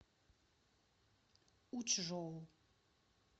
учжоу